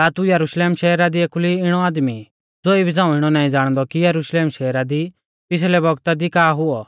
का तू यरुशलेम शहरा दी एखुली इणौ आदमी ई ज़ो इबी झ़ांऊ इणौ नाईं ज़ाणदौ कि यरुशलेम शहरा दी पिछ़लै बौगता दी का हुऔ